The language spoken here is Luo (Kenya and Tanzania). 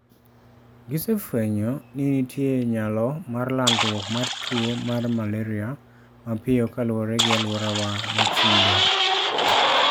Gise fwenyo ni nitie nyalo mar landruok mar tuwo mar malaria mapiyo kaluwore gi alworawa mochido.